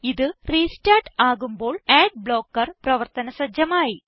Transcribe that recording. ഇത് റെസ്റ്റാർട്ട് ആകുമ്പോൾ ad blocker പ്രവർത്തന സജജമായി